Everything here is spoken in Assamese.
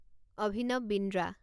অভিনৱ বিন্দ্ৰা